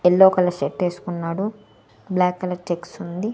Yellow colour shirt ఏసుకున్నాడు black colour checks ఉంది.